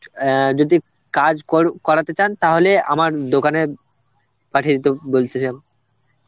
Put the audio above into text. অ্যাঁ যদি কাজ কর~ করাতে চান তাহলে আমার দোকানে পাঠিয়ে দিতে বলছিলাম